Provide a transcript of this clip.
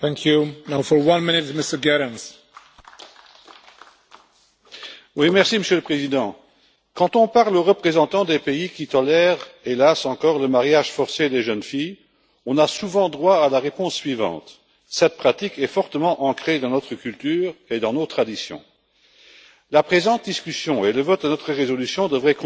Monsieur le Président, quand on parle aux représentants des pays qui, hélas, tolèrent encore le mariage forcé des jeunes filles, on a souvent droit à la réponse suivante cette pratique est fortement ancrée dans notre culture et dans nos traditions. La présente discussion et le vote de votre résolution devraient contribuer à mettre fin à cette situation exécrable qui, malheureusement, méprise encore